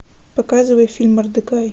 ы